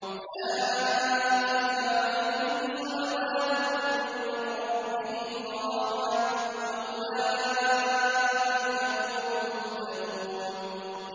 أُولَٰئِكَ عَلَيْهِمْ صَلَوَاتٌ مِّن رَّبِّهِمْ وَرَحْمَةٌ ۖ وَأُولَٰئِكَ هُمُ الْمُهْتَدُونَ